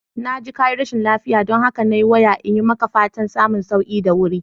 Na ji kayi rashin lafiya, don haka na yi waya iyi maka fatan samun sauki da wuri